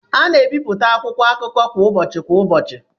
A na-ebipụta akwụkwọ akụkọ kwa ụbọchị kwa ụbọchị